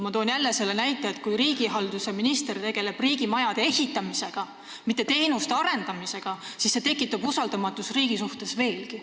Ma toon jälle selle näite, et riigihalduse minister tegeleb riigimajade ehitamisega, mitte teenuste arendamisega – see tekitab usaldamatust riigi suhtes veel juurde.